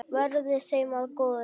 Verði þeim að góðu.